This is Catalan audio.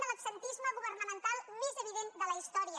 de l’absentisme governamental més evident de la història